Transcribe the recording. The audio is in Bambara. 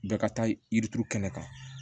Bɛɛ ka taa yiri turu kɛnɛ kan